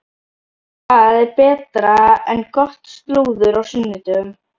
Hvað er betra en gott slúður á sunnudögum?